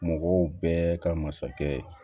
Mɔgɔw bɛɛ ka masakɛ